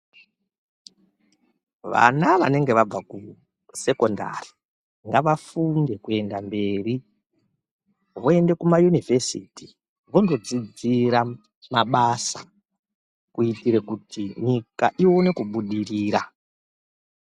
Vana vanenga vabva kusekondari ngavafunde kuenda mberi, voende kumayunivhesiti vondodzidzira mabasa kuitire kuti nyika ione kubudirira.